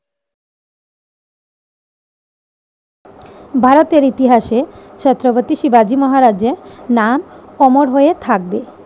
ভারতের ইতিহাসে ছত্রপতি শিবাজী মহারাজের নাম অমর হয়ে থাকবে।